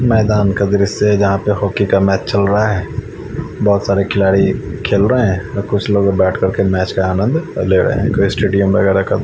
मैदान कब्र से जहा पर हॉकी का मैच चल रहा है बहोत सारे खिलाडी खेल रहे है कुछ लोग बैठ कर के मैच का आनंद ले रहे है पुरे स्टेडियम वगेरा का--